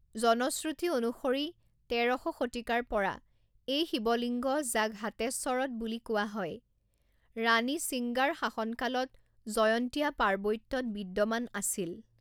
জনশ্ৰুতি অনুসৰি তেৰ শ শতিকাৰ পৰা এই শিৱলিঙ্গ যাক হাতেশ্বৰত বুলি কোৱা হয় ৰাণী সিঙ্গাৰ শাসনকালত জয়ন্তীয়া পাৰ্বত্যত বিদ্যমান আছিল।